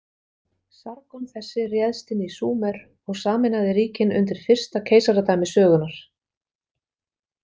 Sargon þessi réðst inn í Súmer og sameinaði ríkin undir fyrsta keisaradæmi sögunnar.